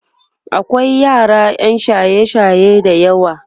akwai yara ƴan shaye shaye da yawa